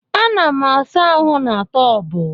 Ana m asa ahụ na tọọbụ